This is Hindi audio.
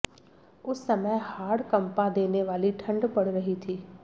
उस समय हाड़ कंपा देने वाली ठंड पड़ रही थी